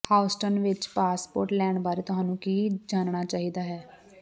Houston ਵਿੱਚ passport ਲੈਣ ਬਾਰੇ ਤੁਹਾਨੂੰ ਕੀ ਜਾਣਨਾ ਚਾਹੀਦਾ ਹੈ